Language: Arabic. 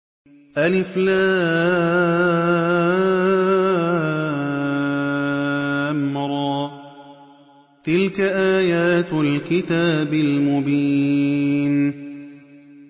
الر ۚ تِلْكَ آيَاتُ الْكِتَابِ الْمُبِينِ